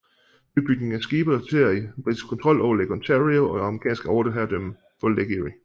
Nybygningen af skibe resulterede i britisk kontrol over Lake Ontario og amerikansk overherredømme på Lake Erie